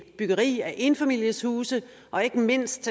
byggeri af enfamilieshuse og ikke mindst